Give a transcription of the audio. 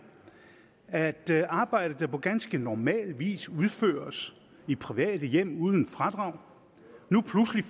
at der i arbejde der på ganske normal vis udføres i private hjem uden fradrag nu pludselig